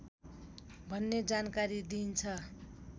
भन्ने जानकारी दिन्छ